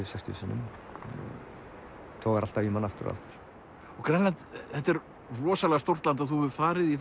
sextíu sinnum togar alltaf í mann aftur og aftur og Grænland þetta er rosalega stórt land og þú hefur farið í